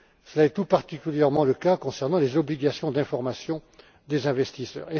Cela est tout particulièrement le cas concernant les obligations d'information des investisseurs.